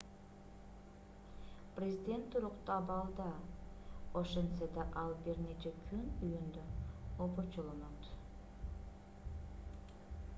президент туруктуу абалда ошентсе да ал бир нече күн үйүндө обочолонот